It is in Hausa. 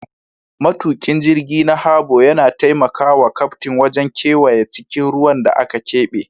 Matukin jirgi na Harbor yana taimaka wa kaftin wajen kewaya cikin ruwan da aka keɓe.